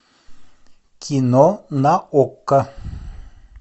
кино на окко